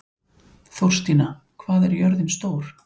Þórstína, hvað er jörðin stór?